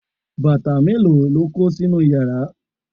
bàtà mélòó lo kó sínú yàrá?